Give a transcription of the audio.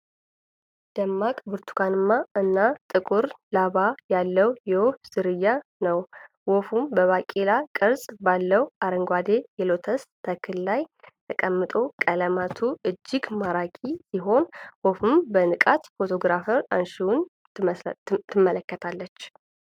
ደማቅ ብርቱካንማ እና ጥቁር ላባ ያለው የወፍ ዝርያ ነው ። ወፉ በባቄላ ቅርፅ ባለው አረንጓዴ የሎተስ ተክል ላይ ተቀምጧል ። ቀለማቱ እጅግ ማራኪ ሲሆን ፣ ወፉም በንቃት ፎቶግራፍ አንሺውን ትመለከታለች ።